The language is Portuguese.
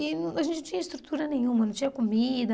E a gente não tinha estrutura nenhuma, não tinha comida.